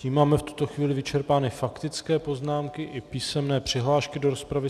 Tím máme v tuto chvíli vyčerpány faktické poznámky i písemné přihlášky do rozpravy.